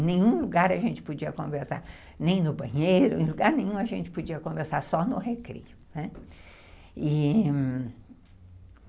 Em nenhum lugar a gente podia conversar, nem no banheiro, em lugar nenhum a gente podia conversar, só no recreio.